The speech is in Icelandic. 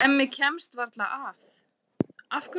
Hemmi kemst varla að.